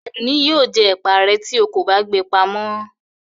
Adunni yio jẹ ẹpa re ti o kọ ba gbe pàmọ